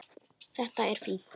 Þetta er fínt.